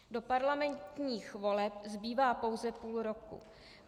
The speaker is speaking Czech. Do parlamentních voleb zbývá pouze půl roku.